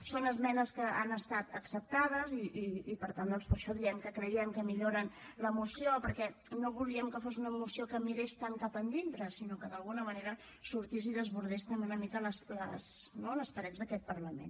són esmenes que han estat acceptades i per tant doncs per això diem que creiem que milloren la moció perquè no volíem que fos una moció que mirés tant cap endintre sinó que d’alguna manera sortís i desbordés també una mica les parets d’aquest parlament